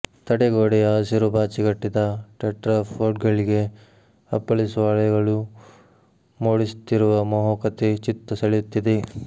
ತಡೆಗೋಡೆಯ ಹಸಿರು ಪಾಚಿ ಕಟ್ಟಿದ ಟೆಟ್ರಾಫೋಡ್ಗಳಿಗೆ ಅಪ್ಪಳಿಸುವ ಅಲೆಗಳು ಮೂಡಿಸುತ್ತಿರುವ ಮೋಹಕತೆ ಚಿತ್ತ ಸೆಳೆಯುತ್ತಿದೆ